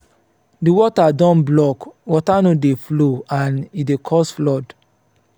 di gutter don block water no dey flow and e dey cause flood